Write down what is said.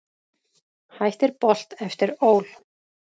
Hættir Bolt eftir ÓL